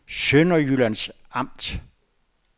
Sønderjyllands Amt